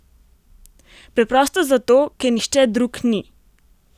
Preprosto zato, ker nihče drug ni!